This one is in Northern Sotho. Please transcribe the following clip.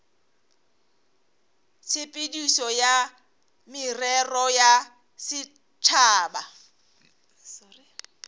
tshepedišo ya merero ya setšhaba